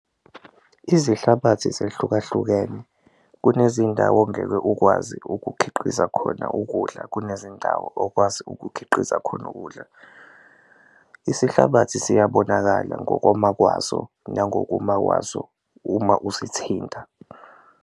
Izinhlabathi zehlukahlukene kunezindawo ongeke ukwazi ukukhiqiza khona ukudla kunezindawo okwazi ukukhiqiza khona ukudla. Isihlabathi siyabonakala ngokoma kwaso nangokuma kwaso uma usithinta.